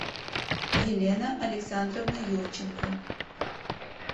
елена александровна юрченко